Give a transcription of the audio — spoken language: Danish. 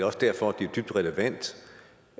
også derfor det er dybt relevant